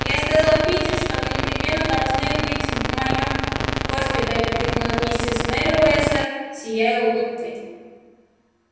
я сказала питти что вы непременно должны быть в моём госпитале крикнула миссис мерриуэзер сияя улыбкой